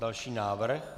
Další návrh.